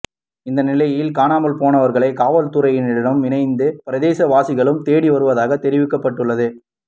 இந்தநிலையில் காணாமல் போனவர்களை காவல்துறையினருடன் இணைந்து பிரதேசவாசிகளும் தேடி வருவதாக தெரிவிக்கப்பட்டுள்ளது